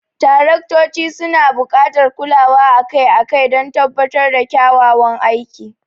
Taraktoci suna buƙatar kulawa akai-akai don tabbatar da kyakkyawan aiki.